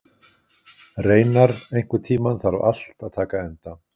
Reynar, einhvern tímann þarf allt að taka enda.